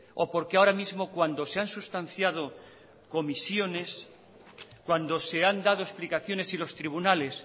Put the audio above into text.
o por qué ahora mismo cuando se han sustanciado comisiones cuando se han dado explicaciones y los tribunales